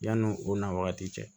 Yanni o n'a wagati cɛ